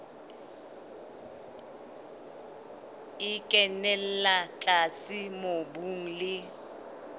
e kenella tlase mobung le